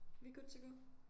Vi good to go